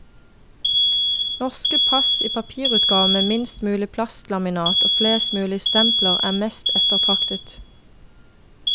Norske pass i papirutgave med minst mulig plastlaminat og flest mulige stempler, er mest ettertraktet.